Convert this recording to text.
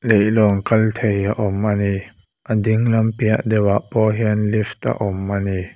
leihlawn kal thei a awm ani a ding lam piah deuhah pawh hian lift a awm ani.